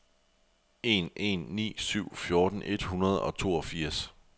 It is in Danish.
en en ni syv fjorten et hundrede og toogfirs